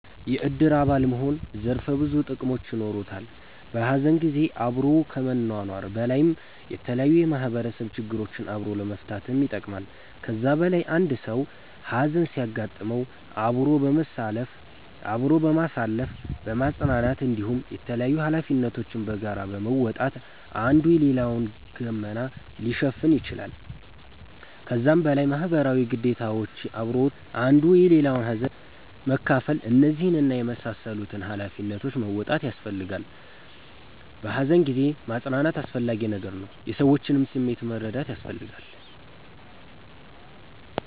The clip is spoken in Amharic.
የእድር አባል መሆን ዘርፈ ብዙ ጥቅሞች የኖሩታል። በሀዘን ጊዜ አብሮ ከመኗኗር በላይ የተለያዩ የማህበረሰብ ችግሮችን አብሮ ለመፈታትም ይጠቅማል። ከዛ በላይ አንድ ሰዉ ሀዘን ሲያጋጥመዉ አብሮ በማሳለፍ በማፅናናት እንዲሁም የተላያዩ ሀላፊነቶችን በጋራ በመወጣት አንዱ የሌላዉን ገመና ሊሸፍን ይችላል። ከዛም በላይ ማህበረሰባዊ ግዴታዎች አብሮ አንዱ የሌላዉን ሀዘን መካፍል እነዚህን እና የመሳሰሉትን ሃላፊነቶች መወጣት ያሰፈልጋላ። በሃዘን ጊዜ ማፅናናት አስፈላጊ ነገር ነዉ። የሰዎችንም ስሜት መረዳት ያስፈልጋል